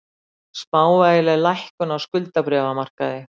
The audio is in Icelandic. Smávægileg lækkun á skuldabréfamarkaði